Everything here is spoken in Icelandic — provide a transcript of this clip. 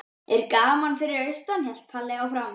Er gaman fyrir austan? hélt Palla áfram.